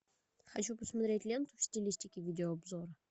хочу посмотреть ленту в стилистике видеообзора